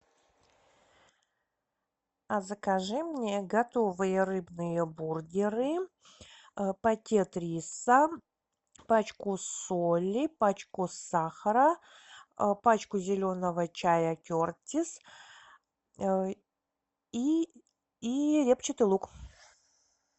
а закажи мне готовые рыбные бургеры пакет риса пачку соли пачку сахара пачку зеленого чая кертис и репчатый лук